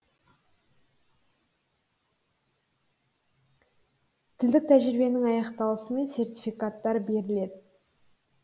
тілдік тәжірибенің аяқталысымен сертификаттар беріледі